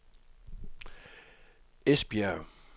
Esbjerg